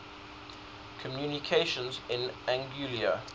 communications in anguilla